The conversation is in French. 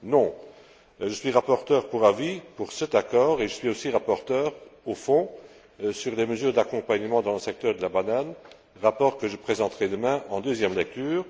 Non! Je suis rapporteur pour avis pour cet accord et je suis aussi rapporteur au fond sur les mesures d'accompagnement dans le secteur de la banane, rapport que je présenterai demain en deuxième lecture.